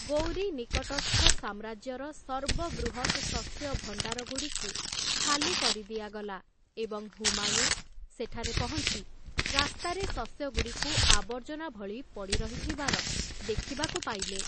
ଗୌରୀ ନିକଟସ୍ଥ ସାମ୍ରାଜ୍ୟର ସର୍ବବୃହତ୍‌ ଶସ୍ୟ ଭଣ୍ଡାରଗୁଡ଼ିକୁ ଖାଲି କରି ଦିଆଗଲା ଏବଂ ହୁମାୟୁନ୍ ସେଠାରେ ପହଞ୍ଚି ରାସ୍ତାରେ ଶସ୍ୟଗୁଡ଼ିକୁ ଆବର୍ଜନା ଭଳି ପଡ଼ିରହିଥିବାର ଦେଖିବାକୁ ପାଇଲେ ।